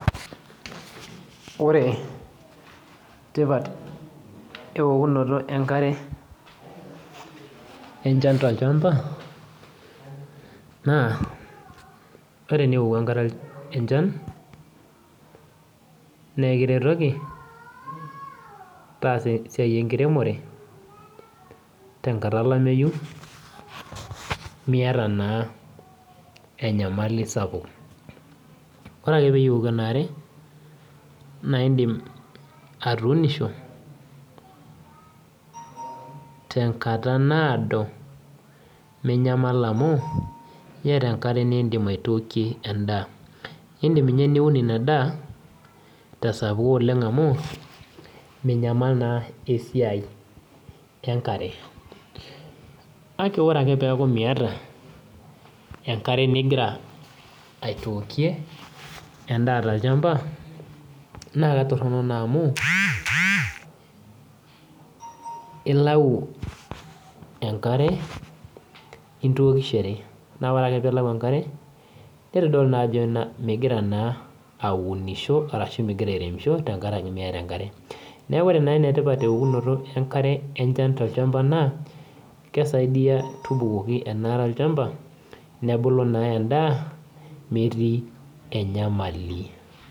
Ore tipat eokunoto enkare, enchan tolchamba, naa ore enioku enkare enchan, nekiretoki, tasa esiai enkiremore, tenkata olameyu, miata naa enyamali sapuk. Ore ake peyie ioki enaare, naidim atuunisho, tenkata naado, minyamal amu, yata enkare nidim aitookie endaa. Idim inye niun inadaa, tesapuk oleng amu, minyamal naa esiai enkare. Ake ore ake peeku miata, enkare nigira aitookie endaa tolchamba, na katorrono naa amu, ilau enkare, nintokishore. Na ore ake pilau enkare, nitodolu najo migira naa aunisho arashu migira airemisho tenkaraki miata enkare. Neeku ore naa enetipat teokunoto enkare enchan tolchamba naa, kesaidia tubukoki enaare olchamba, nebulu naa endaa, metii enyamali.